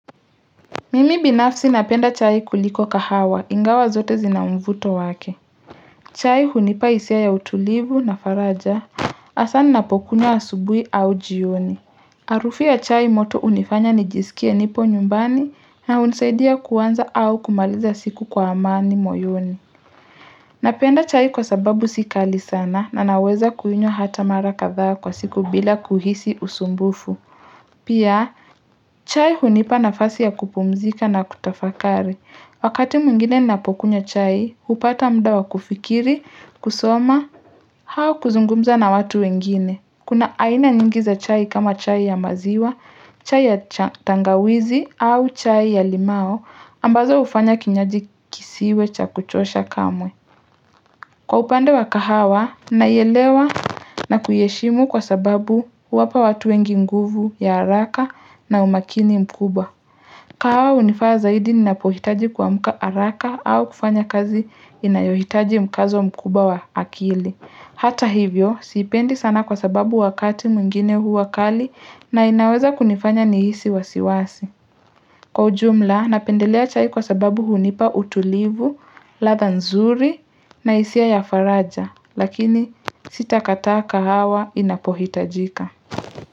Mimi binafsi napenda chai kuliko kahawa ingawa zote zina mvuto wake chai hunipa hisia ya utulivu na faraja hasaa ni napokunya wa asubui au jioni harufi ya chai moto hunifanya nijisikia nipo nyumbani na hunisaidia kuanza au kumaliza siku kwa amani moyoni napenda chai kwa sababu sikali sana na naweza kuinywa hata mara katha kwa siku bila kuhisi usumbufu pia chai hunipa nafasi ya kupumzika na kutafakari. Wakati mwingine napokunywa chai, hupata mda wa kufikiri, kusoma, au kuzungumza na watu wengine. Kuna aina nyingiza chai kama chai ya maziwa, chai ya tangawizi, au chai ya limao, ambazo hufanya kinyaji kisiwe cha kuchosha kamwe. Kwa upande wa kahawa, naielewa na kuieshimu kwa sababu huwapa watu wengi nguvu ya haraka umakini mkubwa. Kahawa hunifaa zaidi ninapohitaji kuamka haraka au kufanya kazi inayohitaji mkazo mkuba wa akili. Hata hivyo, sipendi sana kwa sababu wakati mwingine huwa kali na inaweza kunifanya nihisi wasiwasi. Kwa ujumla, napendelea chai kwa sababu hunipa utulivu, latha nzuri na hisia ya faraja, lakini sita kata kahawa inapohitajika.